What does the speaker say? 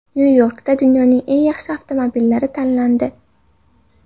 Nyu-Yorkda dunyoning eng yaxshi avtomobillari tanlandi .